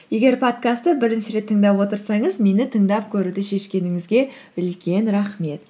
егер подкастты бірінші рет тыңдап отырсаңыз мені тыңдап көруді шешкеніңізге үлкен рахмет